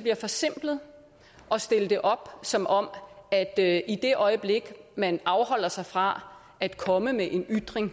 bliver forsimplet at stille det op som om at det i det øjeblik man afholder sig fra at komme med en ytring